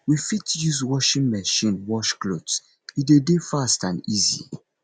we fit use washing machine wash cloths e de dey fast and easy